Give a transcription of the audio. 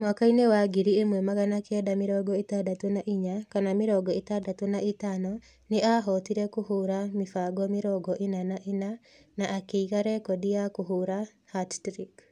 Mwaka-inĩ wa ngiri ĩmwe magana kenda mĩrongo ĩtandatũ na inya / mĩrongo ĩtandatũ na ĩtano, nĩ aahotire kũhũũra mĩbango mĩrongo ĩna na ĩna na akĩiga rekondi ya kũhũũra hat-trick.